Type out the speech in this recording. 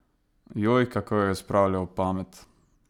Joj, kako jo je spravljal ob pamet!